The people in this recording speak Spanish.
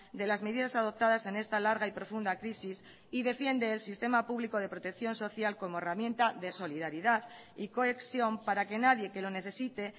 de las medidas adoptadas en esta larga y profunda crisis y defiende el sistema público de protección social como herramienta de solidaridad y cohesión para que nadie que lo necesite